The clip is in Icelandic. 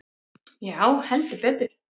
Já heldur betur.